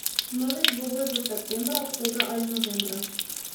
Novi dvoboj bo septembra, oktobra ali novembra.